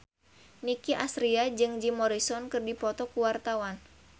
Nicky Astria jeung Jim Morrison keur dipoto ku wartawan